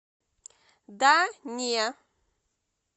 да не